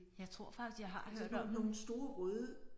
Jeg tror faktisk jeg har hørt om dem